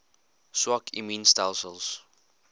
swak immuun stelsels